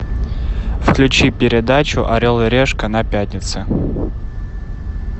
включи передачу орел и решка на пятнице